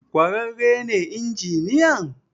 kwararre ne injiniyan?